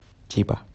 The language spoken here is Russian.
тиба